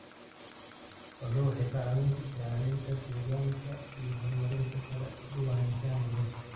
Xooluhu waxay ka caawiyaan ilaalinta deegaanka iyo horumarinta kala duwanaanshaha noolaha.